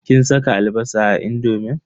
Kin saka albasa a indomin?